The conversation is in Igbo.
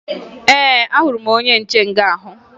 Ee, ahụrụ m onye nche nga ahụ